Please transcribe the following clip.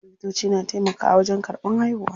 Likitoci na taimakawa wajen karɓan haihuwa.